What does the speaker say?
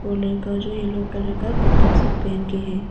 ओ लड़का जो yellow colour का कपड़ा सब पहन के हैं।